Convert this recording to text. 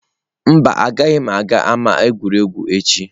Mba, agaghị m aga ama egwuregwu echi.